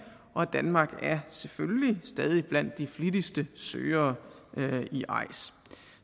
og danmark er selvfølgelig stadig blandt de flittigste søgere i eis